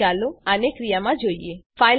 હવે ચાલો આને ક્રિયામાં જોઈએ